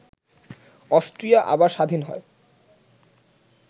Austria আবার স্বাধীন হয়